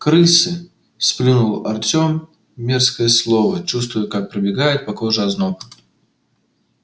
крысы сплюнул артем мерзкое слово чувствуя как пробегает по коже озноб